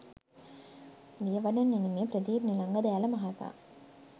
දියවඩන නිලමේ ප්‍රදීප් නිලංග දෑල මහතා